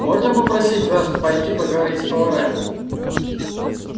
можно попросить вас пойти поговорить с поварами